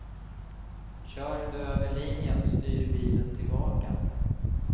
Kör du över linjen styr bilen tillbaka.